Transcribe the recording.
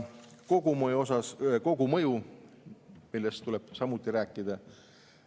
Aga kogumõjust tuleb samuti rääkida.